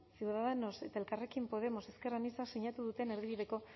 ciudadanos elkarrekin podemos ezker anitzak sinatu duten erdibideko